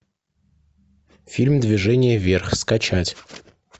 фильм движение вверх скачать